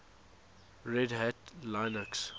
red hat linux